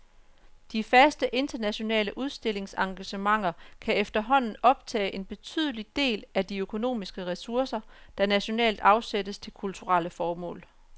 De faste internationale udstillingsengagementer kan efterhånden optage en betydelig del af de økonomiske ressourcer, der nationalt afsættes til kulturelle formål.